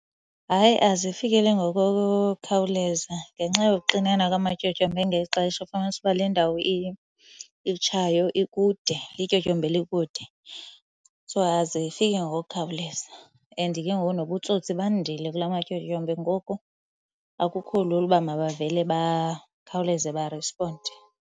Hayi, azifikeleli ngokukhawuleza ngenxa yokuxinana kwamatyotyombe ngeli xesha. Ufumanise uba le ndawo itshayo ikude, lityotyombe elikude. So azifiki ngokukhawuleza. And ke ngoku nobutsotsi bandile kulamatyotyombe ngoku akukho lula uba mabavele bakhawuleze barisponde.